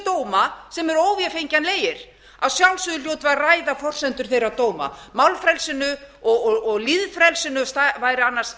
dóma sem eru óvefengjanlegir að sjálfsögðu hljótum við að ræða forsendur þeirra dóma málfrelsinu og lýðfrelsinu væri annars